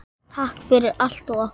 Takk fyrir allt og okkur.